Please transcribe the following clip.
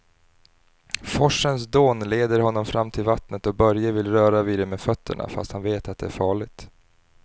Forsens dån leder honom fram till vattnet och Börje vill röra vid det med fötterna, fast han vet att det är farligt.